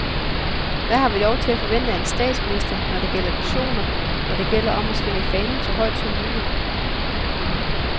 Hvad har vi lov til at forvente af en statsminister, når det gælder visioner, når det gælder om at svinge fanen så højt om muligt.